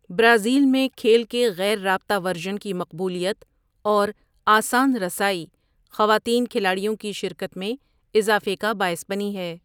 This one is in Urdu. برازیل میں کھیل کے غیر رابطہ ورژن کی مقبولیت اور 'آسان رسائی' خواتین کھلاڑیوں کی شرکت میں اضافے کا باعث بنی ہے۔